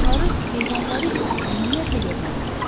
Adamları, heyvanları isə ümumiyyətlə görmək olmurdu.